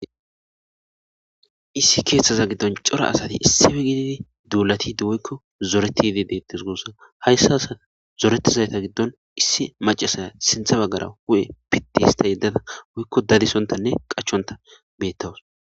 issi keeththaza giddon cora asati issefe gididi duulatidi woykko zoreti yidi deettes guussa hayssa asa zoretizayta giddon issi macasaya sintha baggara wu7e pittihista yeddada woykko dadisontanne qachonta beettawus